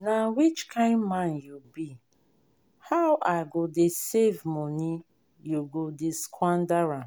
i no believe i no believe say my husband get mind carry the money wey i dey save go marry new wife